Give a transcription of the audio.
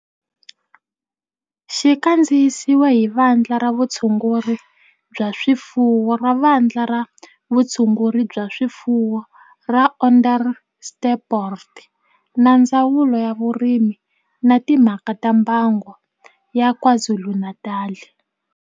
Xi kandziyisiwe hi Vandla ra Vutshunguri bya swifuwo ra Vandla ra Vutshunguri bya swifuwo ra Onderstepoort na Ndzawulo ya Vurimi na Timhaka ta Mbango ya KwaZulu-Natal